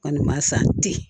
Kɔni ma san ten